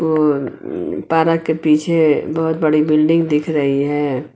और पार्क के पीछे बहोत बड़ी बिल्डिंग दिख रही है।